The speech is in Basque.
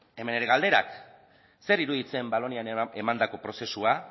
hemen nire galderak zer iruditzen valonian emandako prozesua